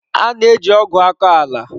A na-eji ọgụ akọ ala.